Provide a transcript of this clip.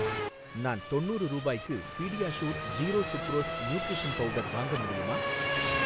நான் தொண்ணூறு ரூபாய்க்கு PediaSure zero sucrose nutrition powder வாங்க முடியுமா?